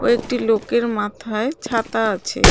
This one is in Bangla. ও একটি লোকের মাথায় ছাতা আছে .